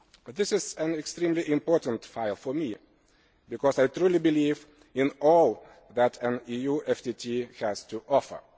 This is an extremely important file for me because I truly believe in all that an EU FTT has to offer.